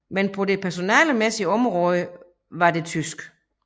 Men på det personalemæssige område var det tysk